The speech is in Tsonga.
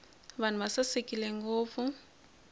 vanhu va sasekile ngopfu